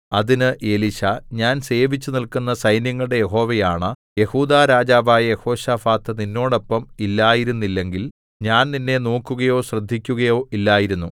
അതിന്ന് എലീശാ ഞാൻ സേവിച്ചുനില്ക്കുന്ന സൈന്യങ്ങളുടെ യഹോവയാണ യെഹൂദാ രാജാവായ യെഹോശാഫാത്ത് നിന്നോടൊപ്പം ഇല്ലായിരുന്നില്ലെങ്കിൽ ഞാൻ നിന്നെ നോക്കുകയോ ശ്രദ്ധിക്കയോ ഇല്ലായിരുന്നു